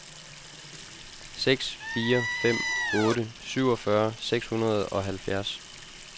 seks fire fem otte syvogfyrre seks hundrede og halvfjerds